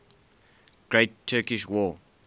great turkish war